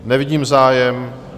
Nevidím zájem.